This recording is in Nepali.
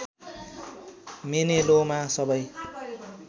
मेलेनोमा सबै